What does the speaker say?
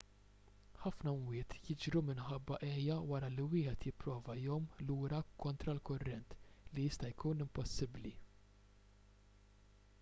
ħafna mwiet jiġru minħabba għejja wara li wieħed jipprova jgħum lura kontra l-kurrent li jista' jkun impossibbli